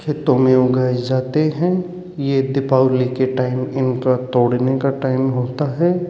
खेतों में उगाए जाते हैं ये दीपावली के टाइम इनका तोड़ने का टाइम होता है।